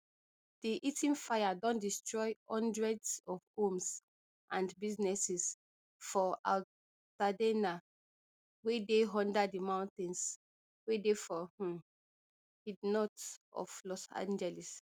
di eaton fire don destroy hundreds of homes and businesses for altadena wey dey under di mountains wey dey for um id north of los angeles